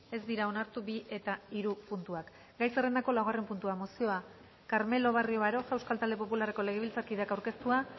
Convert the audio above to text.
ez dira onartu bi eta hiru puntuak gai zerrendako laugarren puntua mozioa carmelo barrio baroja euskal talde popularreko legebiltzarkideak aurkeztua